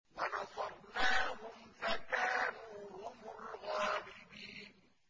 وَنَصَرْنَاهُمْ فَكَانُوا هُمُ الْغَالِبِينَ